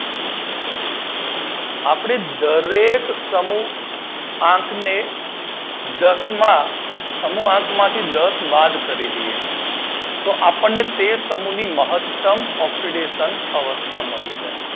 આપદે દરેક સમૂહ આંકને દસ માં સમૂહ આંક માંથી દસ બાદ કરી દઈએ તો આપડાને તેર સમૂહ ની મહતમ ઓક્સીડેશન અવસ્થા મળી જાય